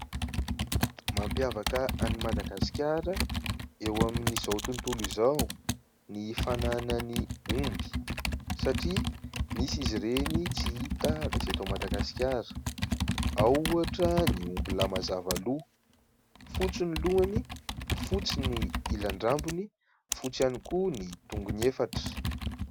Mampiavaka an'i Madagasikara eo amin'izao ny fananany omby satria misy izy ireny tsy hita raha tsy eto Madagasikara. Ao ohatra ny omby lahy mazava loha, fotsy ny lohany, fotsy ny ilan-drambony, fotsy ihany koa ny tongony efatra.